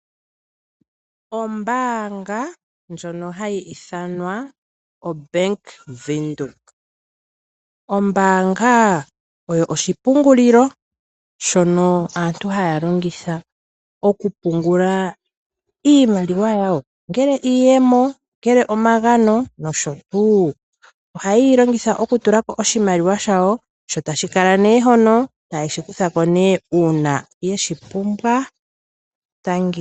Ombaanga yaBank Windhoek oyo oshipungulilo shono aantu haya longitha oku pungula iimaliwa yawo, ongele iiyemo, ongele omagano nosho tuu. Oha ye longitha oku tulako oshimaliwa shawo, tashi kala nduno hono, yo ta ye shi kutha ko uuna ye shi pumbwa